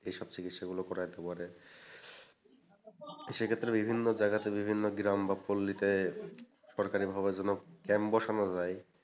এই সব চিকিৎসাগুলো করাইতে পারে সেইক্ষেত্রে বিভিন্ন জায়গাতে বিভিন্ন গ্রাম বা পল্লীতে সরকারিভাবে যেন camp বসানো যায়,